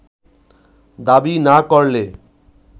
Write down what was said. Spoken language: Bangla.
দাবি না করলে